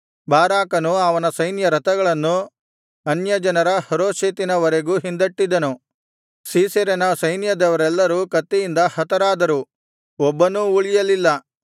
ಬಾರಾಕನು ಅವನ ಸೈನ್ಯರಥಗಳನ್ನು ಅನ್ಯಜನರ ಹರೋಷೆತಿನ ವರೆಗೂ ಹಿಂದಟ್ಟಿದನು ಸೀಸೆರನ ಸೈನ್ಯದವರೆಲ್ಲರೂ ಕತ್ತಿಯಿಂದ ಹತರಾದರು ಒಬ್ಬನೂ ಉಳಿಯಲಿಲ್ಲ